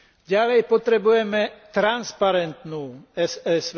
Ďalej potrebujeme transparentnú ESVČ.